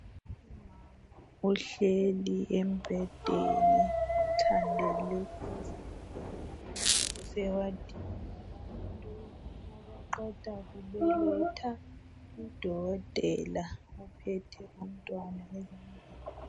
Umama ohleli embhedeni uthandele izambiya usehwadini yabantu abaqeda kubeletha. Udokotela ophethe umntwana ezandleni.